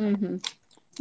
ಹ್ಮ್ ಹ್ಮ್